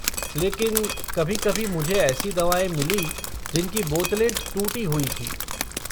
लेकिन, कभी कभी मुझे ऐसी दवाएँ मिलीं जिनकी बोतलें टूटी हुई थीं।